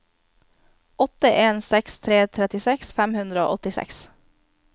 åtte en seks tre trettiseks fem hundre og åttiseks